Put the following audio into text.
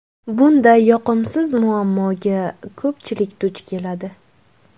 Bunday yoqimsiz muammoga ko‘pchilik duch keladi.